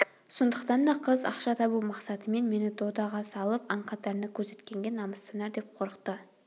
сондықтан да қыз ақша табу мақсатымен мені додаға салып аң қатарында көрсеткенге намыстанар деп қорықты